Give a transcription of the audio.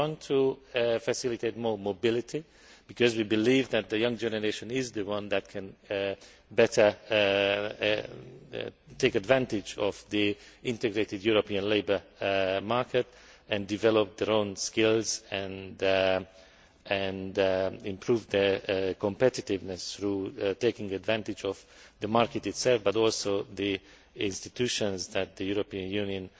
We want to facilitate more mobility, because we believe that the young generation is the one that can better take advantage of the integrated European labour market and develop their own skills and improve their competitiveness through taking advantage not only of the market itself but also of the institutions that the European Union